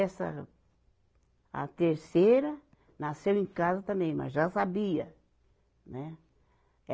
Essa a terceira nasceu em casa também, mas já sabia, né?